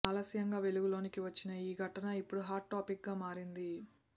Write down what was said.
ఆలస్యంగా వెలుగులోనికి వచ్చిన ఈ ఘటన ఇప్పుడు హాట్ టాపిక్ గా మారింది